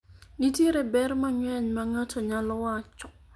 nitiere ber mang'eny ma ng'ato nyalo wacho